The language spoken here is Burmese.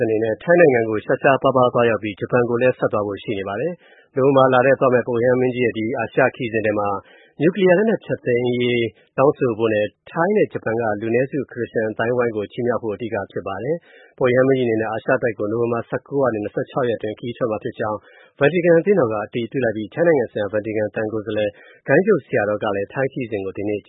အနေနဲ့ ထိုင်းနိုင်ငံကို ရှားရှားပါးပါး သွားရောက်ပြီး၊ ဂျပန်ကိုလည်း ဆက်သွားဖို့ရှိပါတယ်။နိုဝင်ဘာလထဲ သွားမယ့် ပုပ်ရဟန်းမင်းကြီးရဲ့ ဒီ အာရှခရီးစဉ်ထဲမှာ၊ နျုကလီးယား လက်နက် လုံးဝဖျက်သိမ်းရေး တောင်းဆိုဖို့နဲ့၊ ထိုင်းနဲ့ဂျပန်က လူနည်းစု ခရစ်ယာန်အသိုင်းအဝိုင်းကို ချီးမြောက်ဖို့ အဓိက ဖြစ်ပါတယ်။ ပုပ်ရဟန်းမင်းကြီးအနေနဲ့ အာရှတိုက်ကို နိုဝင်ဘာ ၁၉ ကနေ ၂၆ အတွင်း ခရီးထွက်မှာဖြစ်ကြောင်း Ventican အသင်းတော်က အတည်ပြုလိုက်ပြီး၊ ထိုင်းနိုင်ငံဆိုင်ရာ Ventican သံကိုယ်စားလှယ် ဂိုဏ်းချုပ်ဆရာတော် Paul Tschang In-Nam ကလည်း ထိုင်းခရီးစဉ်ကို၊ ဒီနေ့ က